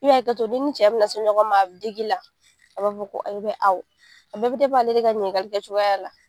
I bi hakɛto n'i ni cɛ bina se ɲɔgɔn ma a bi dig'i la a b'a fɔ ko ayi awɔ a bɛɛ bɛ ale de ka ɲininkali kɛcogoya la.